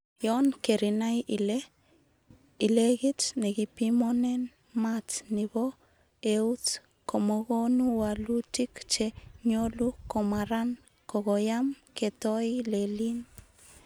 Yon kerinai ile kit nekipimonen maat nebo eut komokonu woluutik che nyolu komaran kokoyam ketoi leliin.